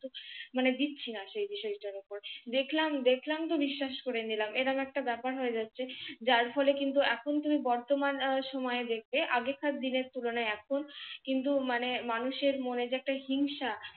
মানে দিচ্ছিনা সে বিষয়টার উপর। দেখলাম দেখলাম তো বিশ্বাস করে নিলাম। এ ধরণের একটা ব্যাপার হয়ে যাচ্ছে। যার ফলে কিন্তু এখন তুমি বর্তমান সময়ে দেখবে আগেকার দিনের তুলনায় এখন কিন্তু মানে মানুষের মনে যে একটা হিংসা